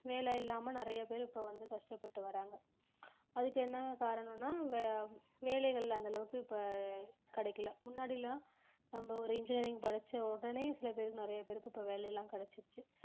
வேலை இல்லாம நிறைய பேர் இப்ப வந்து கஷ்டப்பட்டு வராங்க அதுக்கு என்ன காரணம்னா வே~ வேலைகள் அந்த அளவுக்கு இப்ப கிடைக்கல முன்னாடி எல்லாம் நம்ம ஒரு engineering படிச்ச உடனே சில பேருக்கு நிறைய பேருக்கு இப்ப வேலை எல்லாம் கிடைச்சிருச்சு